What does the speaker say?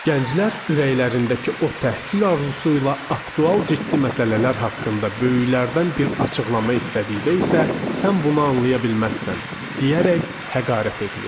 Gənclər ürəklərindəki o təhsil arzusu ilə aktual ciddi məsələlər haqqında böyüklərdən bir açıqlama istədikdə isə, sən bunu anlaya bilməzsən, deyərək həqarət edilirdi.